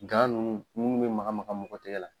ninnu munnu bɛ maga maga mɔgɔ tigɛ la.